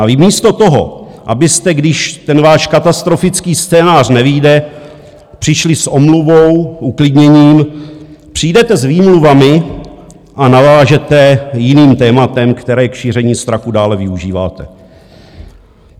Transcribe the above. A vy místo toho, abyste, když ten váš katastrofický scénář nevyjde, přišli s omluvou, uklidněním, přijdete s výmluvami a navážete jiným tématem, které k šíření strachu dále využíváte.